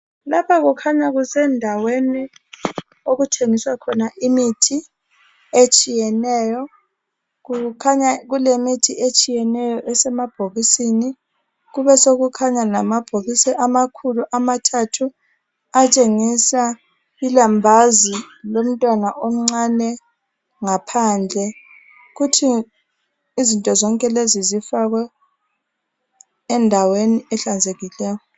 Lapha kukhanya kusendaweni okuthengiswa khona imithi etshiyeneyo. Kukhanya kulemithi etshiyeneyo esemabhokisini, kubesokukhanya lamabhokisi amakhulu amathathu atshengisa ilambazi lomntwana omncane ngaphandle. Kuthi izinto zonkelezi zifakwe endaweni ehlanzekileyo.